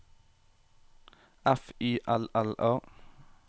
F Y L L A